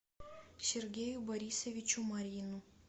сергею борисовичу марьину